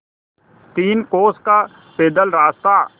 तीन कोस का पैदल रास्ता